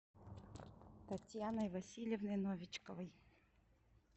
татьяной васильевной новичковой